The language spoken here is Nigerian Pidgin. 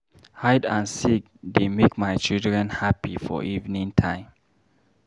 Hide and seek de make my children happy for evening time.